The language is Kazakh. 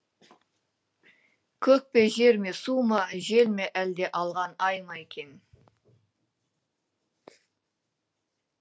көк пе жер ме су ма жел ме әлде алған ай ма екен